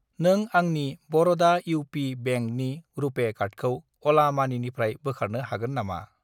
नों आंनि बर'डा इउ.पि. बेंकनि रुपे कार्डखौ अला मानिनिफ्राय बोखारनो हागोन नामा?